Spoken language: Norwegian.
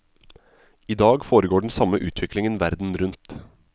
I dag foregår den samme utviklingen verden rundt.